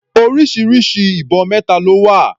Orísirísi ibọn mẹta ló wà.